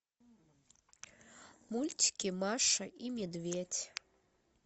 мультики маша и медведь